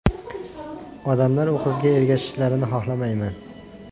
Odamlar u qizga ergashishlarini xolamayman.